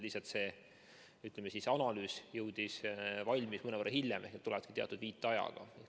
Lihtsalt see, ütleme, analüüs sai valmis mõnevõrra hiljem, see tulebki teatud viitajaga.